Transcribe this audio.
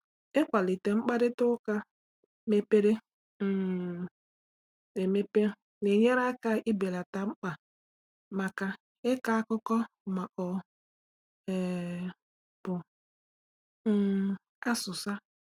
Ịkwalite mkparịta ụka mepere um emepe na-enyere aka ibelata mkpa maka ịkọ akụkọ ma ọ um bụ um asụsa.